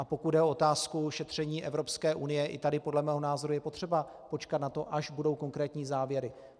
A pokud jde o otázku šetření Evropské unie, i tady podle mého názoru je potřeba počkat na to, až budou konkrétní závěry.